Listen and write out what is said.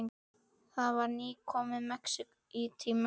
Það var nýkomið í Mexíkó.